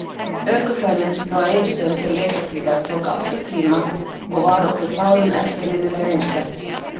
Ökuferðin frá Egilsstöðum til Reykjahlíðar tók átta tíma og var okkur báðum eftirminnileg reynsla.